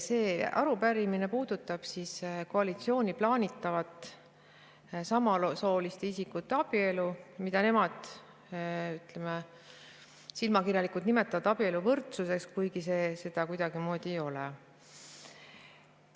See arupärimine puudutab koalitsiooni plaanitavat samasooliste isikute abielu, mida nemad, ütleme, silmakirjalikult nimetavad abieluvõrdsuseks, kuigi see seda kuidagimoodi ei ole.